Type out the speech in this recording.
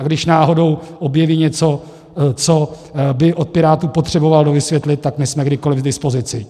A když náhodou objeví něco, co by od Pirátů potřeboval dovysvětlit, tak my jsme kdykoli k dispozici.